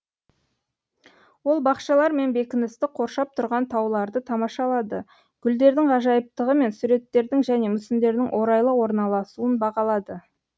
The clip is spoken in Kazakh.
ол бақшалар мен бекіністі қоршап тұрған тауларды тамашалады гүлдердің ғажайыптығы мен суреттердің және мүсіндердің орайлы орналасуын бағалады